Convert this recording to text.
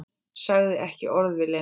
Sagði ekki orð við Lenu.